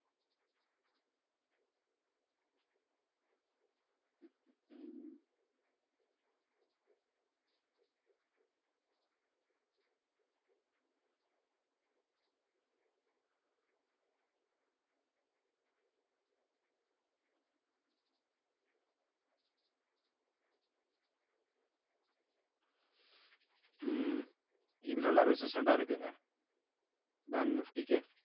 உம் இது நல்லா resistant ஆ இருக்குங்க bank nifty க்கு